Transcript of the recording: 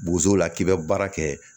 Bozo la k'i bɛ baara kɛ